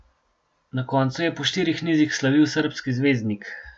Na koncu je po štirih nizih slavil srbski zvezdnik.